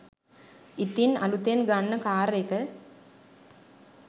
ඉතින් අලුතෙන් ගන්න කාර් එක